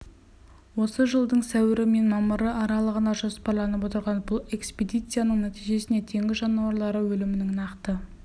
осы жылдың сәуірі мен мамыры аралығына жоспарланып отырған бұл экспедицияның нәтижесінде теңіз жануарлары өлімінің нақты